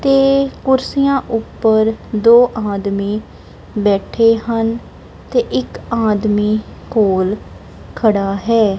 ਤੇ ਕੁਰਸੀਆਂ ਉੱਪਰ ਦੋ ਆਦਮੀ ਬੈਠੇ ਹਨ ਤੇ ਇੱਕ ਆਦਮੀ ਕੋਲ ਖੜਾ ਹੈ।